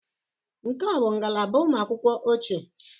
Nke a ọ bụ ngalaba ụmụ akwụkwọ ochie?